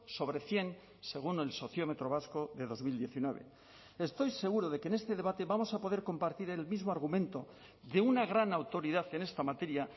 sobre cien según el sociómetro vasco de dos mil diecinueve estoy seguro de que en este debate vamos a poder compartir el mismo argumento de una gran autoridad en esta materia